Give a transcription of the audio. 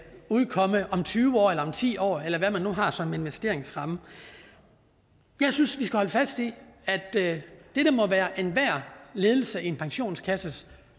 udkomme om tyve år eller om ti år eller hvad man nu har som investeringsramme jeg synes vi skal holde fast i at dette må være enhver ledelse af en pensionskasses